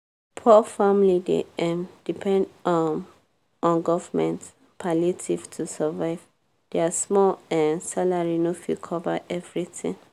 poor family dey um depend um on govt palliative to survive! dia small um salary no fit cover everytin.